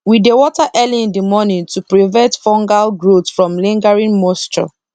we dey water early in the morning to prevent fungal growth from lingering moisture